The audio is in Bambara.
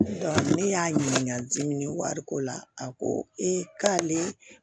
ne y'a ɲininka dimi wariko la a ko e k'ale